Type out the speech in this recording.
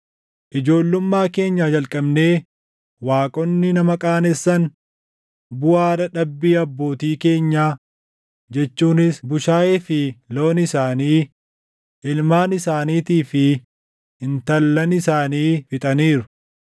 Ijoollummaa keenyaa jalqabnee waaqonni nama qaanessan, buʼaa dadhabbii abbootii keenyaa jechuunis bushaayee fi loon isaanii, ilmaan isaaniitii fi intallan isaanii fixaniiru.